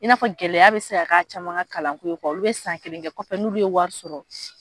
I n'a fɔ gɛlɛya bɛ se ka ka caman ka kalanko ye olu bɛ san kelen kɛ kɔfɛ n'olu ye wari sɔrɔ.